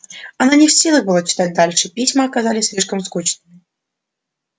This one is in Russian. она не в силах была читать дальше письма оказалось слишком скучными